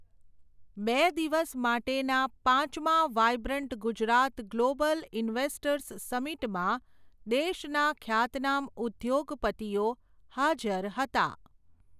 બે દિવસ માટેના પાંચમા વાઇબ્રન્ટ ગુજરાત ગ્લોબલ ઇન્વેસ્ટર્સ સમિટમા, દેશના ખ્યાતનામ ઉધ્યોગપતિઓ હાજર હતા.